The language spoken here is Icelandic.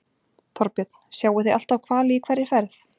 Þorbjörn: Sjáið þið alltaf hvali í hverri ferð?